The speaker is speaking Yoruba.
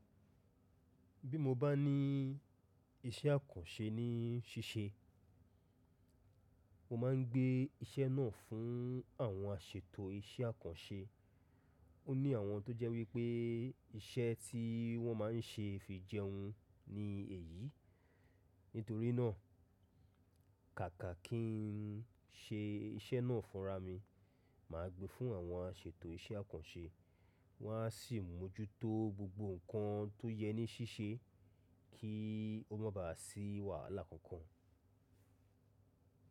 Bí mo bá ní iṣẹ́ àkànṣe ní ṣíṣe, mo máa ń gbé iṣẹ́ náà fún àwọn aṣètò iṣẹ́ àkànṣe. Ó ní àwọn tó jẹ́ wípé iṣẹ́ tí wọ́n máa ń ṣe fi jẹun ni èyí. Nítorí náà, kàkà kí n ṣe iṣẹ́ náà fúnra mi, màá gbé fún àwọn aṣètò iṣẹ́ àkànṣe. Wọ́n á sì mójútó gbogbo ǹnkan tó yẹ ní ṣíṣe kí ó má ba à sí wàhálà kankan.